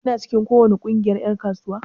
Kina cikin ko wani kungiyar en kasuwa?